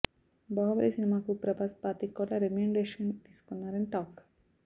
బాహుబలి సినిమాకు ప్రభాస్ పాతిక కోట్ల రెమ్యునరేషన్ తీసుకున్నారని టాక్